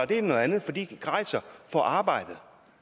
det noget andet for de rejser for arbejdet